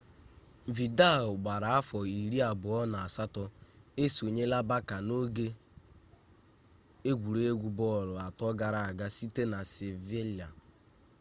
vidal gbara afọ iri abụọ na asatọ esonyela barça n'oge egwuregwu bọọlụ atọ gara aga site na sevilla